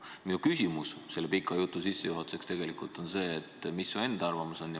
Minu küsimus selle pika sissejuhatuse järel tegelikult on see, et mis su enda arvamus on.